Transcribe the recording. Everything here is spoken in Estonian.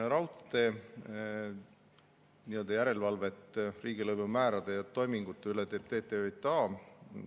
Raudtee järelevalvet riigilõivumäärade ja toimingute üle teeb TTJA.